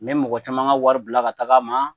Me mɔgɔ caman ka wari bila ka taga a ma,